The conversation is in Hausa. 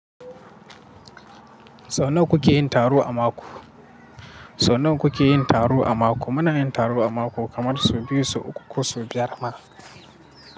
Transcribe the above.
Sau nawa kuke yin taro a mako? Sau nawa kuke yin taro a mako? Muna yin taro a mako kamar sau biyu, sau uku ko sau biyar ma.